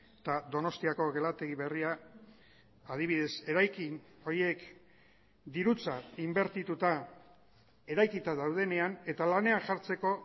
eta donostiako gelategi berria adibidez eraikin horiek dirutza inbertituta eraikita daudenean eta lanean jartzeko